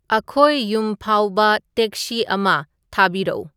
ꯑꯈꯣꯏ ꯌꯨꯝ ꯐꯥꯎꯕ ꯇꯦꯛꯁꯤ ꯑꯃ ꯊꯥꯕꯤꯔꯛꯎ